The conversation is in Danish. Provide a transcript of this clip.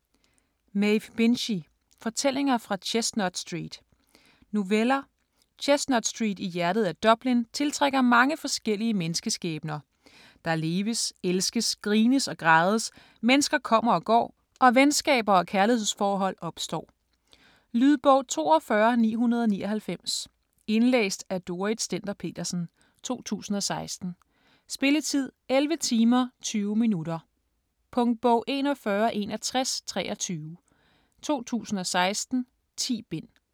Binchy, Maeve: Fortællinger fra Chestnut Street Noveller. Chestnut Street i hjertet af Dublin tiltrækker mange forskellige menneskeskæbner. Der leves, elskes, grines og grædes, mennesker kommer og går og venskaber og kærlighedsforhold opstår. Lydbog 42999 Indlæst af Dorrit Stender-Petersen, 2016. Spilletid: 11 timer, 20 minutter. Punktbog 416123 2016. 10 bind.